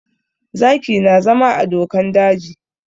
Zaki na zama a dokan daji